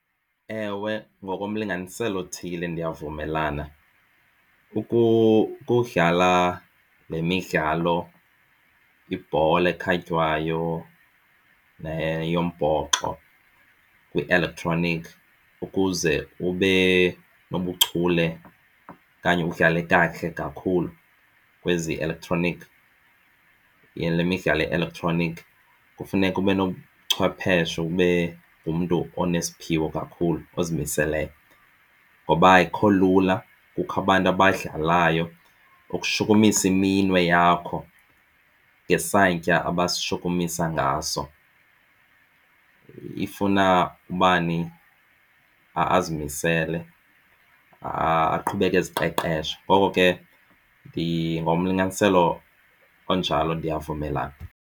Ewe, ngokomlinganiselo othile ndiyavumelana ukudlala le midlalo ibhola ekhatywayo neyombhoxo kwi-electronic ukuze ube nobuchule okanye udlale kakuhle kakhulu kwezielektroniki le midlalo yeelektroniki kufuneka ube nobuchwepheshe ube ngumntu onesiphiwo kakhulu ozimiseleyo ngoba akukho lula. Kukho abantu abadlalayo ukushukumisa iminwe yakho ngesantya abashukumisa ngaso ifuna ubani azimisele aqhubeke eziqeqesha. Ngoko ke ngomlinganiselo onjalo ndiyavumelana.